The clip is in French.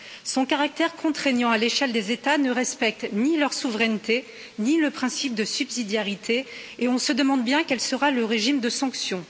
Son caractère contraignant à l'échelle des États ne respecte ni leur souveraineté, ni le principe de subsidiarité et on se demande bien quel sera le régime de sanctions.